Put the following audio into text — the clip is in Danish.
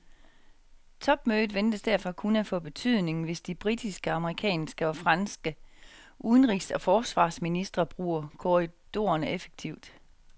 Topmødet ventes derfor kun at få betydning, hvis de britiske, amerikanske og franske udenrigs og forsvarsministre bruger korridorerne effektivt.